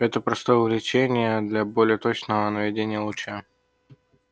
это простое увлечение для более точного наведения луча